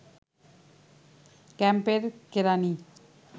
ক্যাম্পের কেরানি